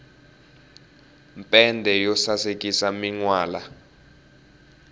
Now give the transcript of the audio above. mpende yo sasekisa minwala